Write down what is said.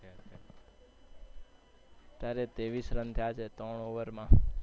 અત્યારે ત્રેવીસ run થયા છે ત્રણ over માં.